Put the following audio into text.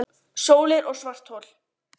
Ekki lá fyrir hvað tilefnið var